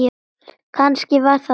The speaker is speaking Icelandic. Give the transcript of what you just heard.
Kannski var það þannig.